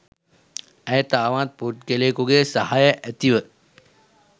ඇය තවත් පුද්ගලයකුගේ සහය ඇතිව